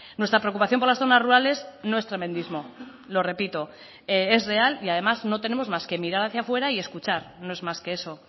nuestra preocupación por las zonas rurales no es tremendismo lo repito es real y además no tenemos más que mirar hacia fuera y escuchar no es más que eso